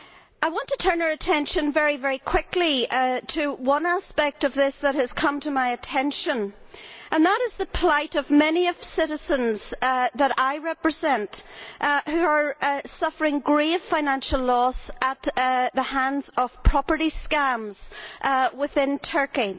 I want to turn our attention very quickly to one aspect of this that has come to my attention, and that is the plight of many of the citizens whom I represent who are suffering grave financial loss as a result of property scams within Turkey.